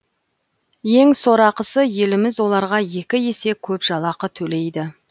ең сорақысы еліміз оларға екі есе көп жалақы төлейді